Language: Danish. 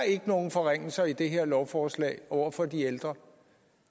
ikke nogen forringelser i det her lovforslag over for de ældre